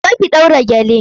Zo ki ɗaura gele!